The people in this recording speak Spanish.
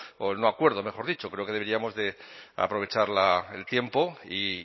o no acuerdo mejor dicho creo que deberíamos de aprovechar el tiempo y